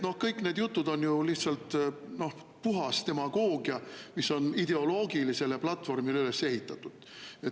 Nii et kõik need jutud on lihtsalt puhas demagoogia, mis on ideoloogilisele platvormile üles ehitatud.